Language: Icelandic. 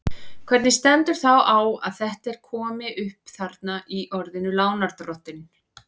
Hvernig stendur þá á að þetta er komi upp þarna í orðinu lánardrottinn?